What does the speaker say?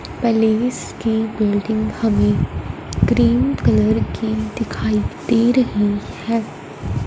Place की building हमें cream colour की दिखाई दे रही है।